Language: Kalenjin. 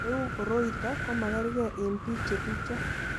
Ole u koroito ko magerge eng' biko chetupcho.